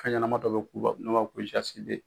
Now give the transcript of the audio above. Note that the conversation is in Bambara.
Fɛn ɲɛnama dɔ bɛ k'u la n'o b'a fɔ ko